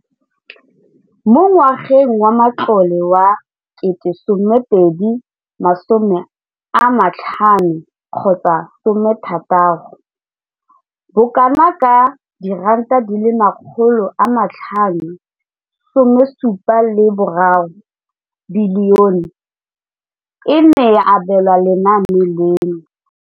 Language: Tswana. Mo ngwageng wa matlole wa 2015,16, bokanaka R5 703 bilione e ne ya abelwa lenaane leno.